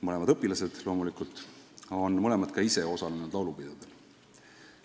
Mõlemad on loomulikult õpilased ja mõlemad on ka ise osalenud laulupidudel.